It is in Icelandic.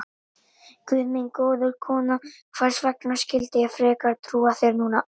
Guð minn góður, kona, hvers vegna skyldi ég frekar trúa þér núna?